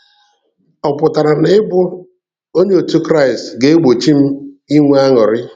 Ọ pụtara na ịbụ onye otu Kraịst ga-egbochi m inwe aṅụrị?